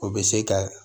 O bɛ se ka